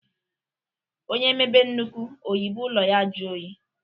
Onye mebe nnukwu oyibo ụlọ ya ajụọ oyi.